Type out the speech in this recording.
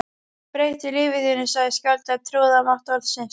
Breyttu lífi þínu sagði skáldið og trúði á mátt orðsins